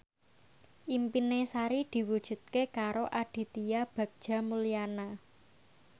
impine Sari diwujudke karo Aditya Bagja Mulyana